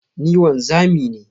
Ni wanzami ne.